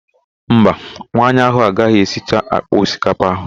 Mba, nwaanyị ahụ agaghị esicha àkpà osikapa ahụ.